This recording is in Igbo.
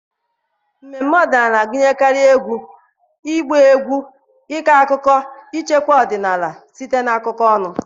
mmemme ọdịnala na-agụnyekarị egwu, ịgba egwu na ịkọ akụkọ, ichekwa ọdịnala ọdịnala site na akụkọ ọnụ.